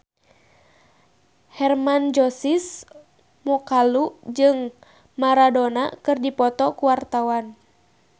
Hermann Josis Mokalu jeung Maradona keur dipoto ku wartawan